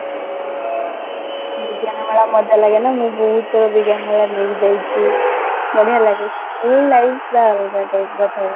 ବିଜ୍ଞାନ ମେଳା ମଜା ଲାଗେ ନା ମୁଁ ବହୁତ ଥର ବିଜ୍ଞାନ ମେଳା ନେଇକି ଯାଇଛି ବଢିଆ ଲାଗେ school life ଟା ଅଲଗା ପ୍ରକାର ଥାଏ